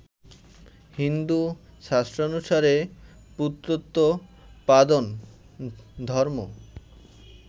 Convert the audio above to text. হিন্দু শাস্ত্রানুসারে পুত্রোৎপাদন ধর্ম্ম